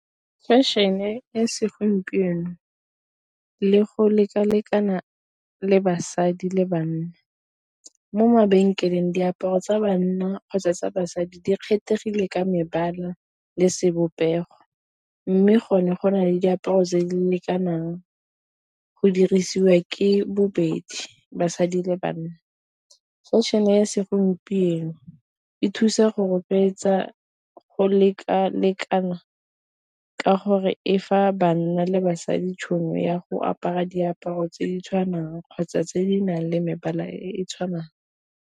Fashion-e segompieno le go lekalekana le basadi le banna, mo mabenkeleng diaparo tsa bana kgotsa tsa basadi di kgethegile ka mebala le sebopego, mme go ne go na le diaparo tse di lekanang go dirisiwa ke bobedi basadi le banna. Fashion ya segompieno e thusa go rotloetsa go lekalekana ka gore e fa banna le basadi tšhono ya go apara diaparo tse di tshwanang kgotsa tse di nang le mebala e e tshwanang.